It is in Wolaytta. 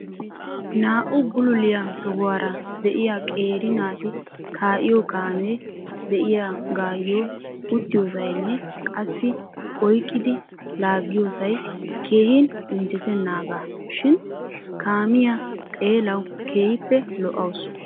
naa''u bulluliyaa tohuwaara de'iyaa qeeri naati kaa'iyo kaamee de'iyaagayyo uttiyoosaynne qassi oyqqidi laagiyyoosay keehin injjettenaaga shin kaamiyaa xeelaw keehippe lo''awus.